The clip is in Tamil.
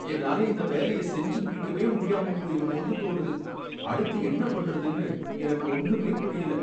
என்னால இந்த வேலைய செஞ்சு முடிக்கவே முடியாம போயிருமோன்னு தோணுது, அடுத்து என்ன பண்றதுன்னு எனக்கு ஒன்னுமே புரியல